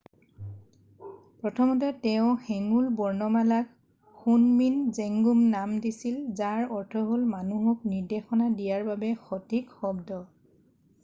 "প্ৰথমতে তেওঁ হেঙুল বৰ্ণমালাক শুনমিন জেংগুম নাম দিছিল যাৰ অৰ্থ হ'ল "মানুহক নিৰ্দেশনা দিয়াৰ বাবে সঠিক শব্দ""।""